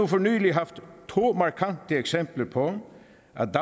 for nylig haft to markante eksempler på